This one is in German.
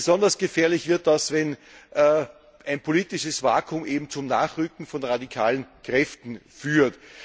Besonders gefährlich wird das, wenn ein politisches Vakuum zum Nachrücken von radikalen Kräften führt.